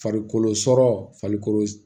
Farikolo sɔrɔ farikolo